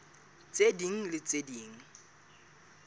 tse ding le tse ding